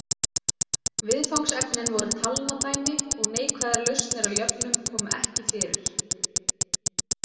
Viðfangsefnin voru talnadæmi og neikvæðar lausnir á jöfnum komu ekki fyrir.